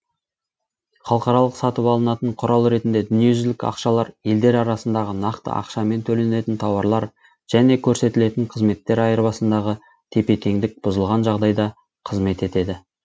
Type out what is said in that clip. халықаралық сатып алынатын құрал ретінде дүниежүзілік ақшалар елдер арасындағы нақты ақшамен төленетін тауарлар және көрсетілетін қызметтер айырбасындағы тепе тендік бұзылған жағдайда қызмет етеді